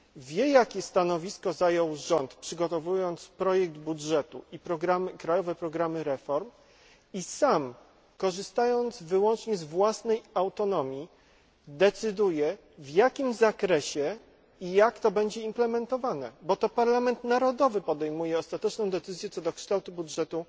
Wie, jakie stanowisko zajął rząd, przygotowując projekt budżetu i krajowe programy reform i sam, korzystając wyłącznie z własnej autonomii, decyduje, w jakim zakresie i jak to będzie implementowane, bo to parlament narodowy podejmuje ostateczną decyzję, co do kształtu budżetu